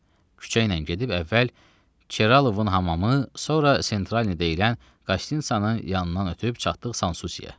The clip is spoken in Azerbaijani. Küçəylə gedib əvvəl Çeralovun hamamı, sonra Sentralni deyilən Qastinsanın yanından ötüb çatdıq Sansusiyə.